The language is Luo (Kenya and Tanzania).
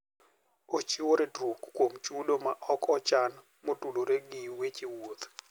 Ochiwo ritruok kuom chudo ma ok ochan ma otudore gi weche wuoth.